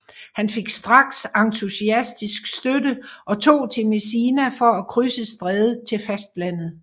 Han fik straks entusiastisk støtte og tog til Messina for at krydse strædet til fastlandet